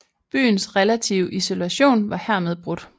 Byens relative isolation var hermed brudt